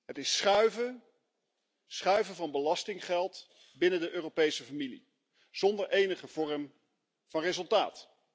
Het is schuiven van belastinggeld binnen de Europese familie zonder enige vorm van resultaat.